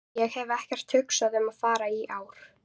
Ég hef ekkert hugsað um að fara í ár.